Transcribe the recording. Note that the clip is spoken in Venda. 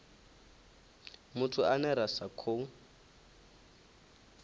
muthu ane ra sa khou